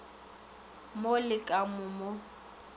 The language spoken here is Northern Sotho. mo le ka mo mo